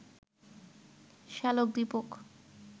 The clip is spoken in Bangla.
শ্যালক দীপক